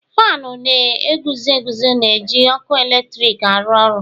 Faanụ na-eguzo eguzo na-eji ọkụ eletrik aru oru.